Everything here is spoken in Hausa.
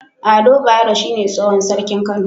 Ado bayero shine tsohon sarkin kano